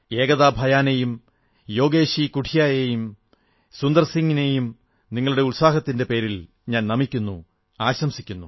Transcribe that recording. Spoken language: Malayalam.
ഏകതാ ഭയാനെയും യോഗേശി കുഠിയായെയും സുന്ദർസിംഗ് നെയും നിങ്ങളുടെ സാഹസത്തിന്റെ പേരിൽ നമിക്കുന്നു ആശംസിക്കുന്നു